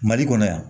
Mali kɔnɔ yan